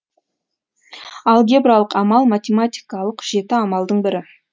алгебралық амал математикалық жеті амалдың бірі